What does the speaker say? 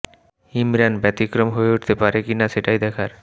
ইমরান ব্যতিক্রম হয়ে উঠতে পারে কি না সেটাই দেখার